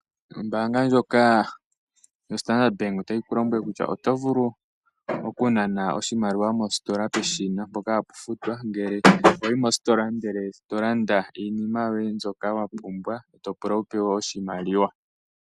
Ombaanga ndjoka yoStandard Bank, otayi ku lombwele kutya oto vulu okunana oshimaliwa mositola peshina mpoka hapu futwa ngele wa yi mositola e to landa iinima mbyoka wa pumbwa, e to pula wu pewe oshimaliwa.